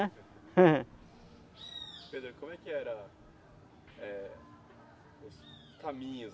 Pedro, como é que era eh os caminhos